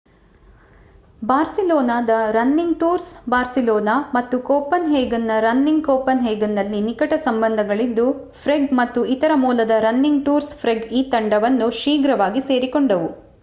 ಬಾರ್ಸಿಲೋನಾದ running tours Barcelona ಮತ್ತು ಕೋಪನ್‌ಹೇಗನ್‌ನ running ಕೋಪನ್‌ಹೇಗನ್‌ನಲ್ಲಿ ನಿಕಟ ಸಂಬಂಧಗಳಿದ್ದು ಪ್ರೇಗ್ ಮತ್ತು ಇತರ ಮೂಲದ ರನ್ನಿಂಗ್ ಟೂರ್ಸ್ ಪ್ರೇಗ್ ಈ ತಂಡವನ್ನು ಶೀಘ್ರವಾಗಿ ಸೇರಿಕೊಂಡವು